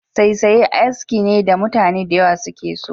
Saisaye aski ne da mutane da yawa suke so.